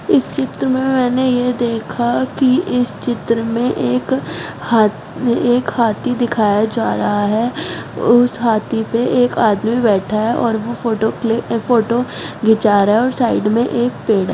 इस चित्र में मैंने यह देखा कि इस चित्र में एक हाथ एक हाथी दिखाया जा रहा है उस हाथी पे एक आदमी बैठा है और वह फोटो खिंचा रहा है और साइड में एक पेड़ हे।